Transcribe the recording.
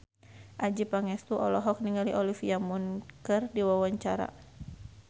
Adjie Pangestu olohok ningali Olivia Munn keur diwawancara